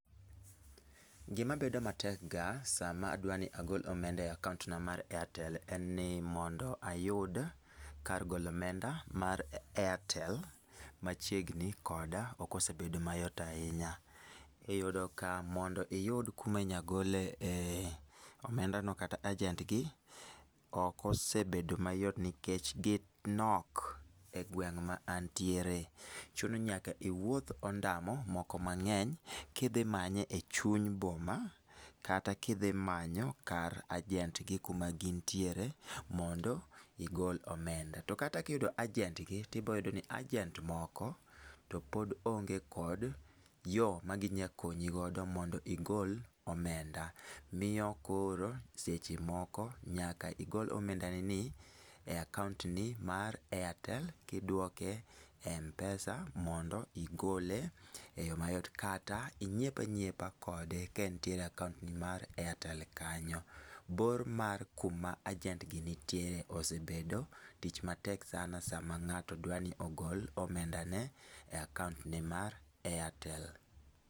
Gima bedo matekga sama adwa ni agol omenda e akaont na mar Airtel en ni mondo ayud kar golo omenda mar Airtel machiegni koda ok osebedo mayot ahinya. Iyudo ka mondo iyud kuma inyalo gole eh omendano kata ajent gi ok osebedo mayot nikech ginok e gweng' ma antiere. Chuno ni nyaka iwuoth ondamo moko mang'eny kidhi manye echuny boma kata kidhi manyo ajent gi kuma gin tiere mondo igol omenda. To kata ka iyudo ajent gi to ibiro yudo ni ajent moko to pod onge kod yo maginyalo konyi godo mondo igol omenda. Miyo koro seche moko nyaka igol omendanini e akaont ni mar Airtel kiduoke e m-pesa mondo igole eyo mayot. Kata inyiep anyiepa kode ka entiere e akaont ni mar Airtel kanyo. Bor mar kuma ajent gi nitiere ose bedo tich matek sana sama ng'ato dwa ni ogol omendane e akaont ne mar Airtel.